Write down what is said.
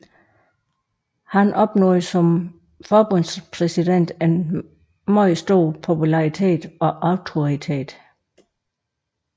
Han opnåede som forbundspræsident en meget stor popularitet og autoritet